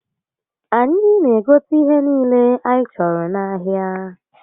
Anyi n'egote ihe niile anyi choro n'ahia